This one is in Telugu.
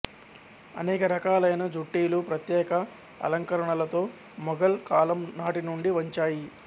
అనేక రకాలైన జుట్టీలు ప్రత్యేక అలంకరణలతో మొఘల్ కాలం నాటినుండి వచ్చాయి